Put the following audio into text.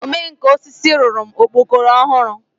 Ome nka osisi rụrụ m okpokoro ọhụrụ.